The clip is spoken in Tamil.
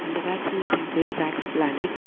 இந்த வேக்ஸ் மியூசியம் பேரு வேக்ஸ் பிளான்ட் .